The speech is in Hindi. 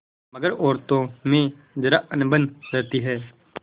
मगर औरतों में जरा अनबन रहती है